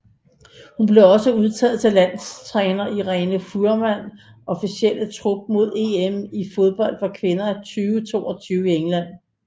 Hun blev også udtaget til landstræner Irene Fuhrmanns officielle trup mod EM i fodbold for kvinder 2022 i England